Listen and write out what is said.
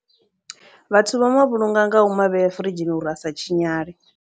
Vhathu vha ma vhulunga nga u ma vhea furidzhini uri a sa tshinyale.